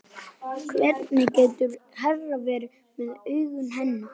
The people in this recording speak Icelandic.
Söguþráður leiksins er sagnfræðilega réttur í flestum meginatriðum.